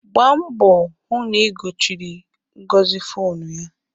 Gbaa mboo hụ na i gochiri Ngozi fonu ya!